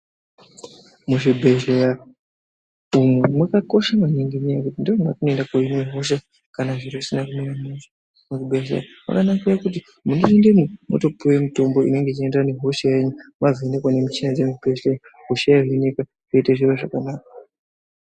Muzvibhedhleya umu makakosha maningi ngenyaya yekuti ndimo matinoenda koonekwa hosha kana zviro zvisina kumira zvakanaka. Muzvibhedhlera makanakira kuti munopindemo motopuwa mitombo inoenderana nehosha yenyu mwazoonekwa ngemushina dzinoita zviri zvakanaka.